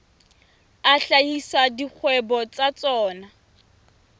a hlahisa dikgwebo tsa tsona